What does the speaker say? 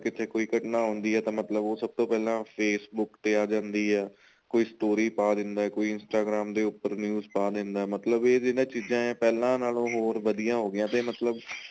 ਕਿਤੇ ਕੋਈ ਘਟਣਾ ਆਉਂਦੀ ਏ ਤਾਂ ਸਭ ਤੋਂ ਪਹਿਲਾਂ Facebook ਤੇ ਆ ਜਾਂਦੀ ਏ ਕੋਈ story ਪਾ ਦਿੰਦਾ ਕੋਈ Instagram ਦੇ ਉਪਰ news ਪਾ ਦਿੰਦਾ ਮਤਲਬ ਇਹ ਜਿਹੜੀ ਚੀਜ਼ਾਂ ਪਹਿਲਾਂ ਨਾਲੋ ਹੋਰ ਵਧੀਆ ਹੋ ਗਈਆਂ ਤੇ ਮਤਲਬ